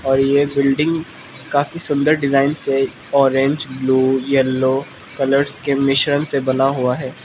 और ये बिल्डिंग काफी सुंदर डिजाइन से ऑरेंज ब्ल्यू येलो कलर्स के मिश्रण से बना हुआ है।